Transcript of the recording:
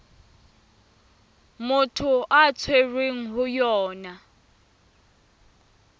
motho a tshwerweng ho yona